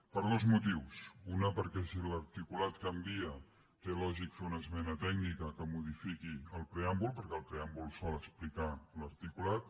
per dos motius un perquè si l’articulat canvia té lògica fer una esmena tècnica que modifiqui el preàmbul perquè el preàmbul sol explicar l’articulat